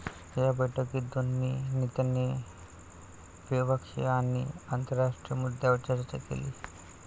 या बैठकीत दोन्ही नेत्यांनी द्विपक्षीय आणि आंतरराष्ट्रीय मुद्द्यांवर चर्चा केली.